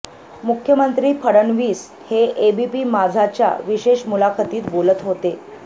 मुख्यमंत्री फडणवीस हे एबीपी माझा च्या विशेष मुलाखतीत बोलत होते